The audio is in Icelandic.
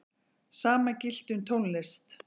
Sama gilti um tónlist.